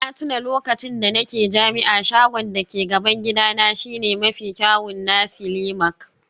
Na tuna lokacin da nake jami'a, shagon da ke gaban gidana shine mafi kyawun nasi lemak